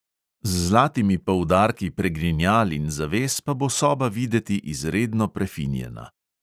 Z zlatimi poudarki pregrinjal in zaves pa bo soba videti izredno prefinjena.